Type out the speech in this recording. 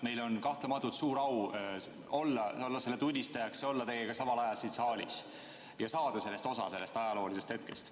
Meil on kahtlemata suur au olla selle tunnistajaks, olla teiega samal ajal siin saalis ja saada osa sellest ajaloolisest hetkest.